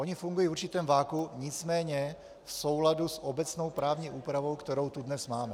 Ony fungují v určitém vakuu, nicméně v souladu s obecnou právní úpravou, kterou tu dnes máme.